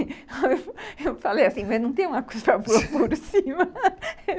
Eu falei assim, mas não tem uma coisa para pôr por cima?